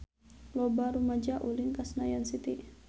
Loba rumaja ulin ka Senayan City